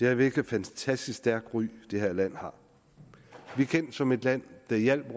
er hvilket fantastisk stærkt ry det her land har vi er kendt som et land der hjælper